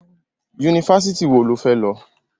Yunifásitì wo lo fẹ́ lọ?